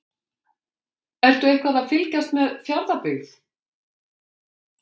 Ertu eitthvað að fylgjast með Fjarðabyggð?